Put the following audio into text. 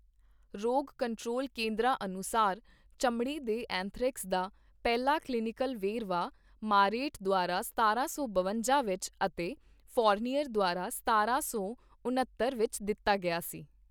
ਰੋਗ ਕੰਟਰੋਲ ਕੇਂਦਰਾਂ ਅਨੁਸਾਰ ਚਮੜੀ ਦੇ ਐਂਥਰੈਕਸ ਦਾ ਪਹਿਲਾ ਕਲੀਨਿਕਲ ਵੇਰਵਾ ਮਾਰੇਟ ਦੁਆਰਾ ਸਤਾਰਾਂ ਸੌ ਬਵੰਜਾ ਵਿੱਚ ਅਤੇ ਫੋਰਨੀਅਰ ਦੁਆਰਾ ਸਤਾਰਾਂ ਸੌ ਉਣੱਤਰ ਵਿੱਚ ਦਿੱਤਾ ਗਿਆ ਸੀ।